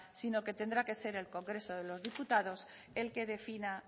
sino que tendrá que ser el congreso de los diputados el que defina